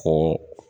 Ko